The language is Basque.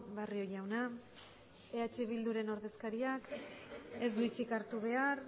barrio jauna eh bilduren ordezkariak ez du hitzik hartu behar